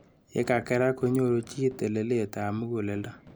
Yekakerak konyoru chi telelet ab mukuleldo.